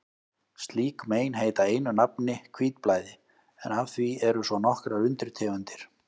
Slík mein heita einu nafni hvítblæði, en af því eru svo nokkrar undirtegundir.